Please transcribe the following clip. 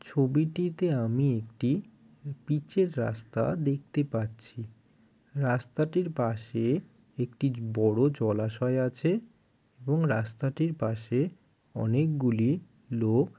ছবিটিতে আমি একটি পিচের রাস্তা দেখতে পাচ্ছি। রাস্তাটির পাশে একটি বড় জলাশয় আছে এবং রাস্তাটির পাশে অনেকগুলি লোক।